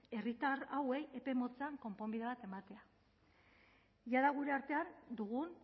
herritar hauei epe motzean konponbide bat ematea jada gure artean dugun